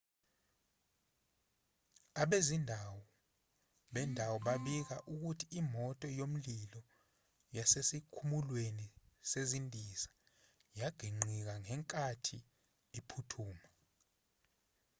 abezindaba bendawo babika ukuthi imoto yomlilo yasesikhumulweni sezindiza yaginqikangenkathi iphuthuma